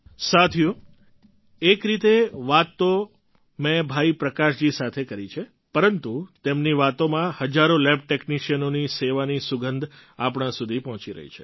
સાથીઓ એક રીતે વાત તો મેં ભાઈ પ્રકાશજી સાથે કરી છે પરંતુ તેમની વાતોમાં હજારો લેબ ટૅક્નિશિયનોની સેવાની સુગંધ આપણા સુધી પહોંચી રહી છે